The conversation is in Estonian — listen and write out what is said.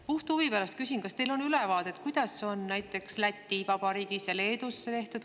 Puht huvi pärast küsin, kas teil on ülevaade, kuidas on see tehtud näiteks Läti Vabariigis ja Leedus.